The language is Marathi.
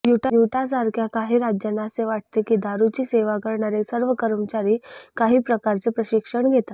युटासारख्या काही राज्यांना असे वाटते की दारूची सेवा करणारे सर्व कर्मचारी काही प्रकारचे प्रशिक्षण घेतात